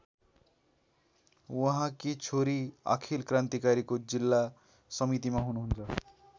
उहाँकी छोरी अखिल क्रान्तिकारीको जिल्ला समितिमा हुनुहुन्छ।